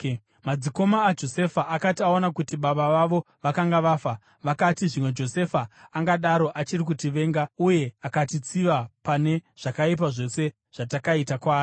Madzikoma aJosefa akati aona kuti baba vavo vakanga vafa, vakati, “Zvimwe Josefa angadaro achiri kutivenga uye akatitsiva pane zvakaipa zvose zvatakaita kwaari?”